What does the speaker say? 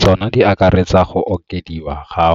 Tsona di akaretsa go okediwa ga